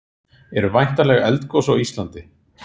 eru væntanleg eldgos á íslandi